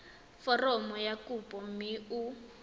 foromo ya kopo mme o